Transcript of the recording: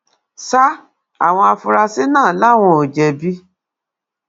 sa àwọn afurasí náà làwọn ò jẹbi